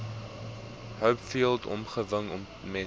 hopefield omgewing ontmoet